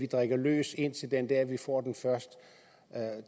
drikke løs indtil den dag de får